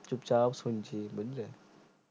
চুপচাপ শুনসি বুজলে